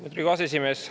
Lugupeetud aseesimees!